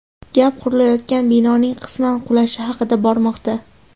Gap qurilayotgan binoning qisman qulashi haqida bormoqda.